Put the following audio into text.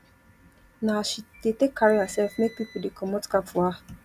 na as she dey take carry hersef make pipo dey comot cap for her